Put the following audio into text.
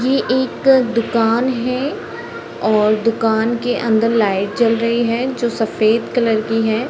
ये एक दुकान है और दुकान के अंदर लाइट जल रही है जो सफ़ेद कलर की है।